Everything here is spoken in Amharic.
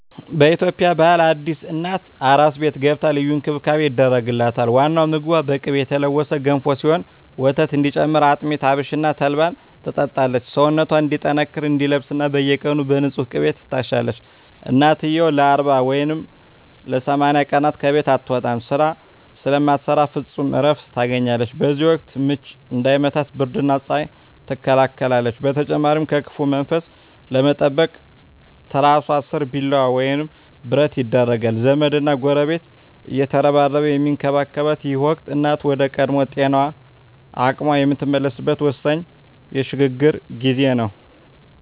በኢትዮጵያ ባህል አዲስ እናት "አራስ ቤት" ገብታ ልዩ እንክብካቤ ይደረግላታል። ዋናው ምግቧ በቅቤ የተለወሰ ገንፎ ሲሆን፣ ወተት እንዲጨምር አጥሚት፣ አብሽና ተልባን ትጠጣለች። ሰውነቷ እንዲጠነክርና እንዲለሰልስ በየቀኑ በንፁህ ቅቤ ትታሻለች። እናትየው ለ40 ወይም ለ80 ቀናት ከቤት አትወጣም፤ ስራ ስለማትሰራ ፍጹም እረፍት ታገኛለች። በዚህ ወቅት "ምች" እንዳይመታት ብርድና ፀሐይ ትከላከላለች። በተጨማሪም ከክፉ መንፈስ ለመጠበቅ ትራሷ ስር ቢላዋ ወይም ብረት ይደረጋል። ዘመድና ጎረቤት እየተረባረበ የሚንከባከባት ይህ ወቅት፣ እናት ወደ ቀድሞ ጤናዋና አቅሟ የምትመለስበት ወሳኝ የሽግግር ጊዜ ነው።